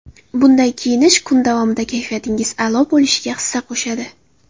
Bunday kiyinish kun davomida kayfiyatingiz a’lo bo‘lishga hissa qo‘shadi.